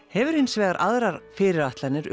hefur hins vegar aðrar fyrirætlanir